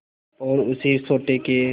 और उसी सोटे के